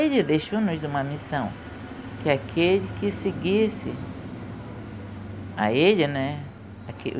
Ele deixou-nos uma missão, que aquele que seguisse a ele, né?